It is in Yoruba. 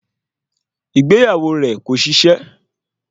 Ìgbéyàwó rẹ̀ kò ṣiṣẹ́